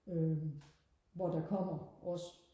øhm hvor der kommer også